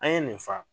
An ye nin fa